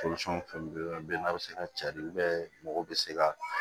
fɛn belebeleba bɛ n'a bɛ se ka cari mɔgɔw bɛ se ka